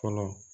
Fɛnɛ